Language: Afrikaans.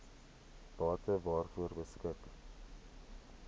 bate waaroor beskik